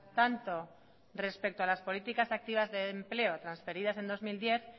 tanto respecto a las políticas activas de empleo transferidas del dos mil diez